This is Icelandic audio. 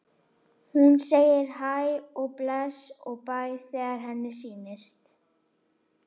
Hún segir hæ og bless og bæ þegar henni sýnist!